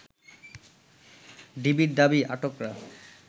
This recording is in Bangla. ডিবির দাবি আটকরা